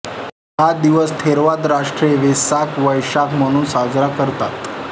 हा दिवस थेरवाद राष्ट्रे वेसाक वैशाख म्हणून साजरा करतात